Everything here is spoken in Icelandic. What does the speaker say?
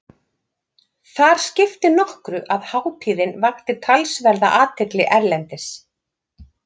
Þar skipti nokkru að hátíðin vakti talsverða athygli erlendis.